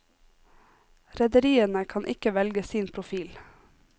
Rederiene kan ikke velge sin profil.